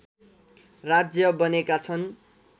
राज्य बनेका छन्